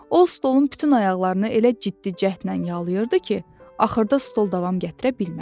O stolun bütün ayaqlarını elə ciddi cəhdlə yalayırdı ki, axırda stol davam gətirə bilmədi.